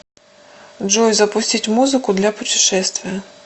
джой запустить музыку для путешествия